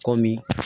Kɔmi